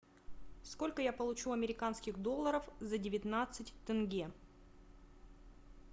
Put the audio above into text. сколько я получу американских долларов за девятнадцать тенге